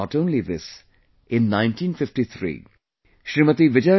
And not only this, in 1953, Smt